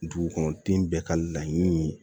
Dugukɔnɔden bɛɛ ka laɲini ye